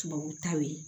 Tubabutaw ye